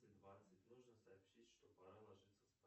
двадцать нужно сообщить что пора ложиться спать